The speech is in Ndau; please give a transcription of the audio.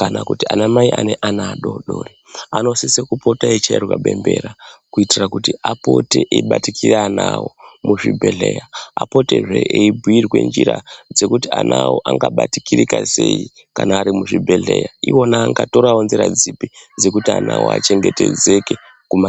kana kuti anamai ane ana adodori anosise kupota eichairwa bembera kuitira kuti apote eibatikira ana awo muzvibhodhlera apotezve eibhirwa njira dzekuti ana awo angabatirika sei kana ari muzvibhodhlera iwona angatorawo nzira dzipi dzekuti ana awo achengetedzeke Kuma...